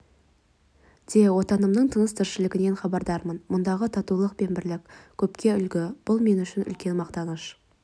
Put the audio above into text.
де отанымның тыныс-тіршілігінен хабардармын мұндағы татулық пен бірлік көпке үлгі бұл мен үшін үлкен мақтаныш